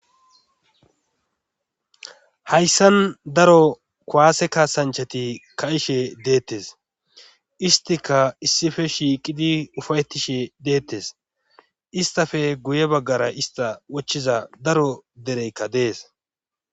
Hayssan daro kuwaase kaasanchati kaishe deettes istika issife shiiqidi ufayetishe deettes istafe guye baggara ista wochchiza daro dereykka dees.